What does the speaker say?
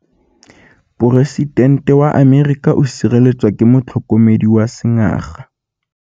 Poresitêntê wa Amerika o sireletswa ke motlhokomedi wa sengaga.